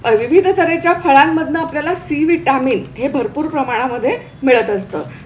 अ विविध तरेच्या फळांमधून आपल्या ला C vitamin हे भरपूर प्रमाणामध्ये मिळत असतं.